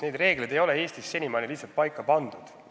Neid reegleid ei ole Eestis senimaani lihtsalt paika pandud.